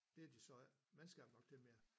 Det har de så ikke mandskab nok til mere